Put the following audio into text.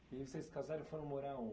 E vocês se casaram e foram morar onde?